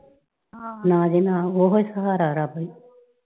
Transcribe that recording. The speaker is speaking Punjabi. ਨਾ ਜੀ ਨਾ, ਉਹ ਹੀ ਸਹਾਰਾ ਰੱਬ ਈ।